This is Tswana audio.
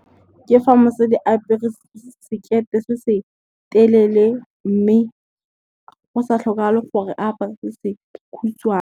Ke fa mosadi a apere sekete se se telele mme, go sa tlhokagale gore apare se se kgutshwane.